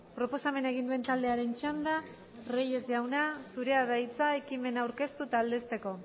proposamena egin duen taldearen txanda reyes jauna zurea da hitza ekimena aurkeztu eta aldezteko